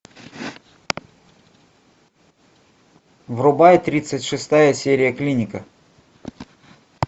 врубай тридцать шестая серия клиника